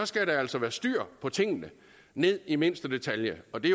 skal der altså være styr på tingene ned i mindste detalje og det